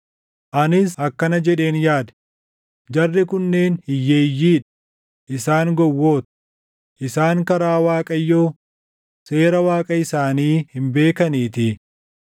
Anis akkana jedheen yaade; “Jarri kunneen hiyyeeyyii dha; isaan gowwoota; isaan karaa Waaqayyoo, seera Waaqa isaanii hin beekaniitii.